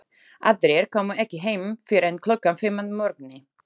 Aðrir komu ekki heim fyrr en klukkan fimm að morgni.